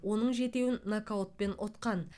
оның жетеуін нокаутпен ұтқан